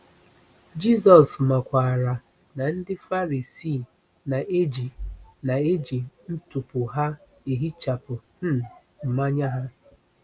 Jisọs makwaara na ndị Farisii na-eji na-eji ntupu na-ehichapụ um mmanya ha.